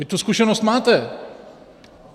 Vy tu zkušenost máte.